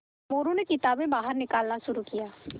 मोरू ने किताबें बाहर निकालना शुरू किया